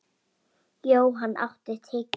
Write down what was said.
Johan, áttu tyggjó?